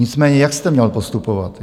Nicméně jak jste měl postupovat?